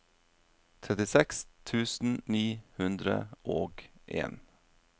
trettiseks tusen ni hundre og en